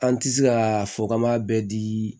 An tɛ se ka fɔ k'an b'a bɛɛ dii